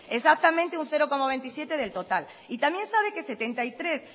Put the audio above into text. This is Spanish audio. exactamente un cero coma veintisiete del total y también sabe que setenta y tres